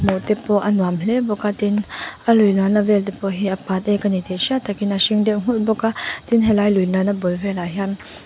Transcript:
te pawh a nuam hle bawk a tin a lui luanna te pawh hi a patek a ni tih hriat tak in a hring deuh nghulh bawk a tin he lai lui luanna bul velah hian.